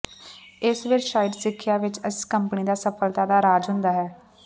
ਇਸ ਵਿਚ ਸ਼ਾਇਦ ਸਿੱਖਿਆ ਵਿੱਚ ਇਸ ਕੰਪਨੀ ਦੀ ਸਫਲਤਾ ਦਾ ਰਾਜ ਹੁੰਦਾ ਹੈ